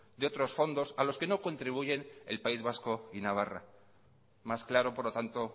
de otros fondos a los que no contribuyen el país vasco y navarra más claro por lo tanto